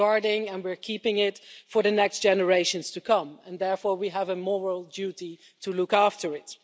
We're guarding it and we're keeping it for the next generations to come, and therefore we have a moral duty to look after it.